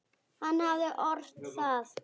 Hann hafði ort það.